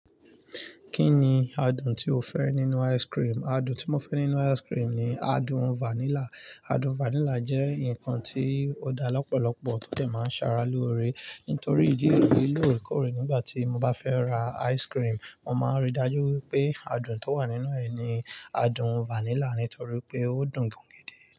Kí ni adùn tí o fẹ́ nínú ice cream? Adùn tí mo fẹ́ nínú ice cream ni adùn vanilla. Adùn vanilla jẹ́ ǹkan tí ó dá lọ́pọ̀lọpọ̀ tọ́dẹ̀ máa ń ṣàrà lóore. Nítorí ìdí èyí lò ìkórè nígbà tí mo bá fẹ́ ra ice cream, mo máa ń rí i dájú pé adùn tó wà nínú ẹ̀ ni adùn vanilla, nítorí pé ó dùn gan gan dé.